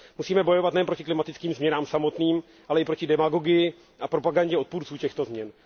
Musíme bojovat nejen proti klimatickým změnám samotným, ale i proti demagogii a propagandě odpůrců těchto změn.